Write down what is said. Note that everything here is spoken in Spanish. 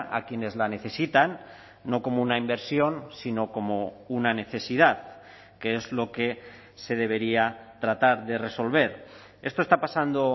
a quienes la necesitan no como una inversión sino como una necesidad que es lo que se debería tratar de resolver esto está pasando